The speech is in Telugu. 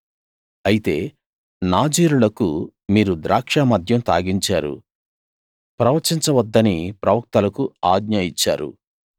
అయితే నాజీరులకు మీరు ద్రాక్షమద్యం తాగించారు ప్రవచించ వద్దని ప్రవక్తలకు ఆజ్ఞ ఇచ్చారు